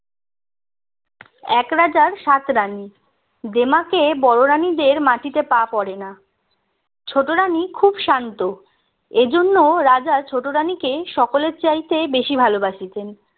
এক রাজার সাত রাণী দেমাকে বড়ো রানিদের মাটিতে পা পড়ে না ছোট রানি খুব শান্ত এজন্য রাজা ছোট রানীকে সকলের চাইতে বেশি ভালোবাসতেন